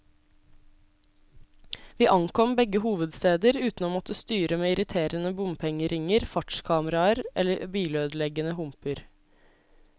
Vi ankom begge hovedsteder uten å måtte styre med irriterende bompengeringer, fartskameraer eller bilødeleggende humper.